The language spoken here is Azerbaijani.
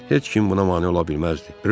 Heç kim buna mane ola bilməzdi.